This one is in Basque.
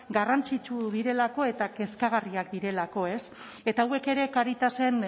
garrantzitsu direlako eta kezkagarriak direlako eta hauek ere caritasen